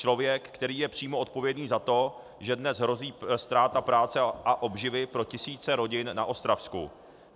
Člověk, který je přímo odpovědný za to, že dnes hrozí ztráta práce a obživy pro tisíce rodin na Ostravsku.